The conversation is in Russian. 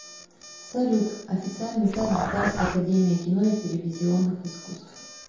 салют официальный сайт британская академия кино и телевизионных искусств